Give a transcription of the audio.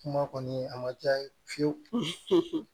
Kuma kɔni a ma diya n ye fiye fiyewu